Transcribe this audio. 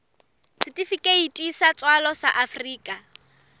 setifikeiti sa tswalo sa afrika